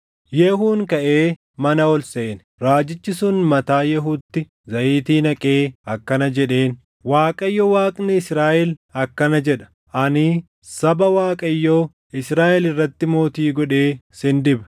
Yehuun kaʼee mana ol seene. Raajichi sun mataa Yehuutti zayitii naqee akkana jedheen; “ Waaqayyo Waaqni Israaʼel akkana jedha; ‘Ani saba Waaqayyoo, Israaʼel irratti mootii godhee sin diba.